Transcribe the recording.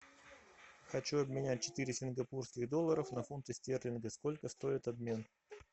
хочу обменять четыре сингапурских доллара на фунты стерлингов сколько стоит обмен